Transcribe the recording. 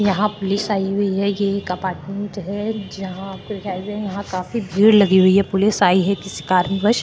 यहाँ पुलिस आई हुई है ये एक अपार्टमेंट है जहाँ पे काफी भीड़ लगी हुई है पुलिस आई हुई है किसी कारण वश --